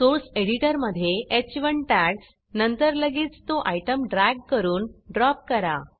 source एडिटरमधे ह1 tags नंतर लगेच तो आयटम ड्रॅग करून ड्रॉप करा